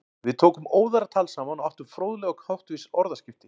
Við tókum óðara tal saman og áttum fróðleg og háttvís orðaskipti.